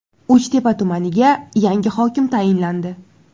Uchtepa tumaniga yangi hokim tayinlandi .